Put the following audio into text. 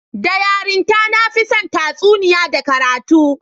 Da yarinta, na fi son tatsuniya da karatu